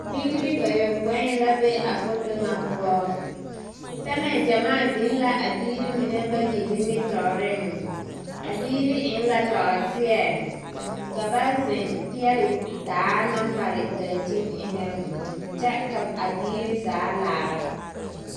Bibiiri bayopõi la be a foto ŋa poɔ, pɛmɛ gyamaa biŋ la abiiri mine bayi nimitɔɔreŋ. A biiri eŋla nɔɔteɛ, ka ba zeŋ peɛle daa naŋ mare daŋkyini eŋɛ , kyŋ ka abiiri zaa laara.